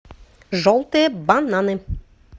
желтые бананы